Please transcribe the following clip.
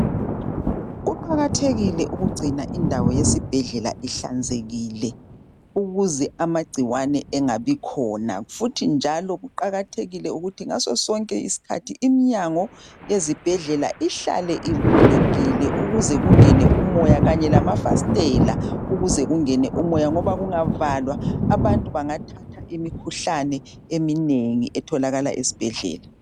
Kuqakathekile ukugcina indawo yesibhedlela ihlanzekile ukuze amangcikwane angabi khona futhi njalo kuqakathekile ukuthi ngaso sonke isikhathi imnyango yezibhedlela ihlale ivulekile ukuze kungene umoya kanye lamafastela ukuze kungene umoya ngoba kungavalwa abantu bangathatha imikhuhlane eminengi etholakala esibhedlela.